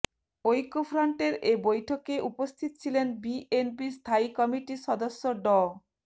ঐক্যফ্রন্টের এ বৈঠকে উপস্থিত ছিলেন বিএনপির স্থায়ী কমিটির সদস্য ড